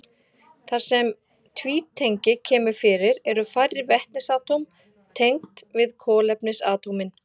Þar sem tvítengi kemur fyrir eru færri vetnisatóm tengd við kolefnisatómin.